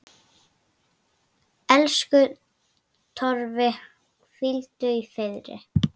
Elsku Torfi, hvíldu í friði.